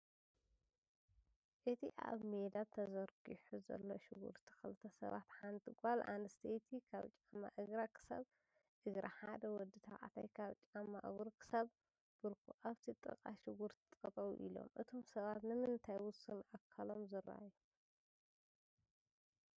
እቲ ኣብ ሜዳ ተዘርጊሑ ዘሎ ሽጉርቲ ክልተ ሰባት ሓንቲ ጓል ኣነስተይቲ ካብ ጫማ እግራ ክሳብ እግራ ሓደ ወዲ ተባዕታይ ካብ ጫማእሩ ክሳብ ብርኩ ኣብቲ ጥቃ ሽጉርቲ ጠጠው ኣሎም ፡፡ እቶም ሰባት ንምንታይ ውሱን ኣካሎም ዝረኣዩ?